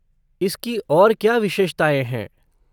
इसकी और क्या विशेषताएँ हैं?